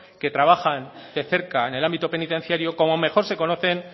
que trabajan de cerca en el ámbito penitenciario como mejor se conocen